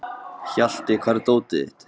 Hjalti, hvar er dótið mitt?